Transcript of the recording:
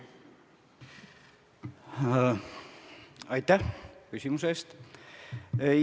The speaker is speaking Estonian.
Aitäh küsimuse eest!